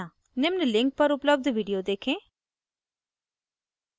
निम्न link पर उपलब्ध video देखें